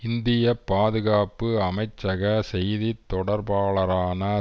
இந்திய பாதுகாப்பு அமைச்சக செய்தி தொடர்பாளரான